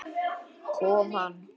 Kom hann?